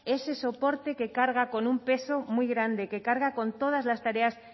ese soporte que carga con un peso muy grande que carga con todas las tareas